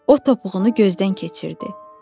O topuğunu gözdən keçirdi.